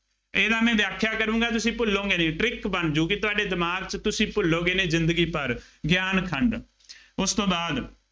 ਇਹਦਾ ਮੈਂ ਵਿਆਖਿਆਂ ਕਰੂੰਗਾ, ਤੁਸੀਂ ਭੁੱਲੋਂਗੇ ਨਹੀਂ, trick ਬਣ ਜਾਊਗੀ, ਤੁਹਾਡੇ ਦਿਮਾਗ ਚ, ਤੁਸੀਂ ਭੂਲੋਗੇ ਨਹੀਂ ਜ਼ਿੰਦਗੀ ਭਰ, ਗਿਆਨ ਖੰਡ,